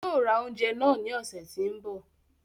Yóò ra oúnjẹ náà ní ọ̀sẹ̀ tí ń bi